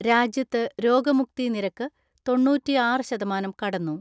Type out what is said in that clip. രാജ്യത്ത് രോഗമുക്തി നിരക്ക് തൊണ്ണൂറ്റിആറ് ശതമാനം കടന്നു.